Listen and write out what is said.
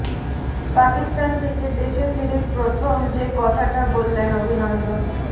পাকিস্তান থেকে দেশে ফিরে প্রথম যে কথাটা বললেন অভিনন্দন